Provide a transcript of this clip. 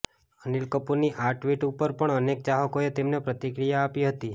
અનિલ કપૂરની આ ટ્વિટ ઉપર પણ અનેક ચાહકોએ તેમને પ્રતિક્રિયા આપી હતી